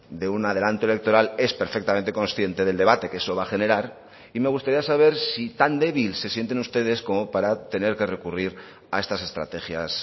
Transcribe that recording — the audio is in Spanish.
de un adelante electoral es perfectamente consciente del debate que eso va a generar y me gustaría saber si tan débil se sienten ustedes como para tener que recurrir a estas estrategias